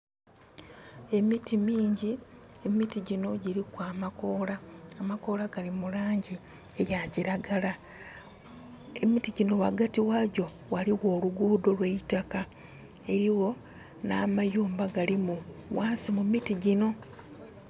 Emiti mingi, emiti gino giriku amakoola. Amakoola gali mulangi eya kiragala. Emiti gino wagati wagyo ghaliwo oluguudo olweitaka. Eriwo namayumba galimu ghansi mu miti gino